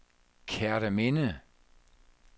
Kerteminde